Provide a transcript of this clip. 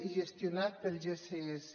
i gestionat pel gss